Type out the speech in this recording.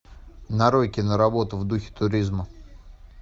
нарой киноработу в духе туризма